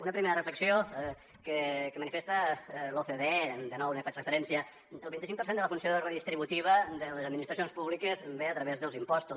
una primera reflexió que manifesta l’ocde de nou ne faig referència el vint cinc per cent de la funció redistributiva de les administracions públiques ve a través dels impostos